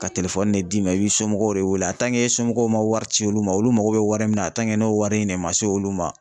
Ka de d'i ma i bɛ somɔgɔw de wele somɔgɔw ma wari ci olu ma, olu mago bɛ wari min na n'o wari in ne ma se olu ma.